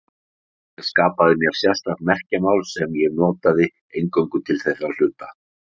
Ég skapaði mér sérstakt merkjamál sem ég notaði eingöngu til þeirra hluta.